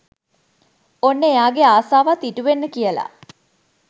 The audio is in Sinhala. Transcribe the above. ඔන්න එයාගේ ආසවත් ඉටුවෙන්න කියලා